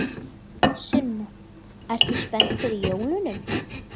Sunna: Ert þú spennt fyrir jólunum?